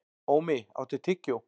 Ómi, áttu tyggjó?